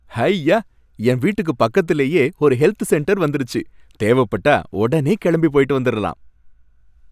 ஹய்யா! என் வீட்டுக்கு பக்கத்துலயே ஒரு ஹெல்த் சென்டர் வந்துருச்சு, தேவப்பட்டா உடனே கிளம்பி போயிட்டு வந்துரலாம்.